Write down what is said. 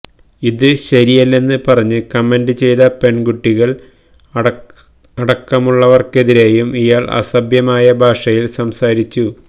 ഇത് ശരിയല്ലെന്ന് പറഞ്ഞ് കമന്റ് ചെയ്ത പെണ്കുട്ടികള് അടക്കമുള്ളവര്ക്കെതിരെയും ഇയാള് അസഭ്യമായ ഭാഷയില് സംസാരിച്ചു